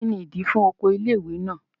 Kí ni ìdí i fún oko ilé ìwé náà?